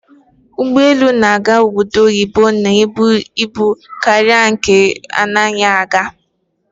Ụgbọelu na-aga obodo oyibo na-ebu ibu karịa nke na-anaghị aga.